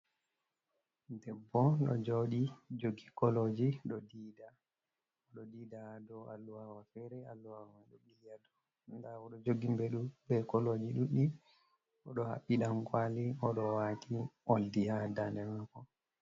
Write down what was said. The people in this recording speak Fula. debbo ɗo joodi jogi kolooji, oɗo diida dow alluhawa feere, alluha mai ɗo ɓili haa dow, nda oɗo jogi mbeɗu bee koolooji ɗuɗɗi oɗo haɓɓi dankwali oɗo waati oldi haa daande maako.